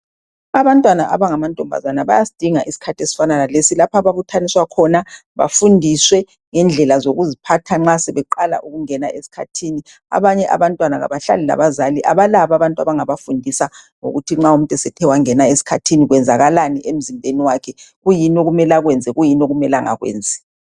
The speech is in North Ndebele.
Abantwana abangamantombazana bayasidinga isikhathi ezifana lalesi lapha ababuthaniswa khona bafundiswe ngendlela zokuziphatha nxa sebeqala ukungena esikhathini. Abanye abantwana kabahlali labazali, kabalabo abantu abangabafundisa ngokuthi nxa umuntu esethe wangena esikhathini , kwenzakalani emzimbeni wakhe. Kuyini okumele akwenze, kuyini okumele angakwenzi.